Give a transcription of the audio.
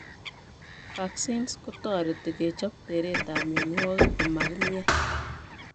Vaccines kotoreti kechob teretab mionwogik komokimian